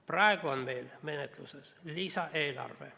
Praegu on menetluses lisaeelarve.